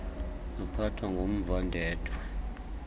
waphathwa ngumva ndedwa